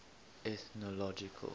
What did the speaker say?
ethnological